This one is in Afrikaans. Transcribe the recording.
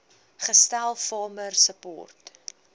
gestel farmer support